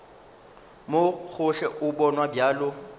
mo gohle o bonwa bjalo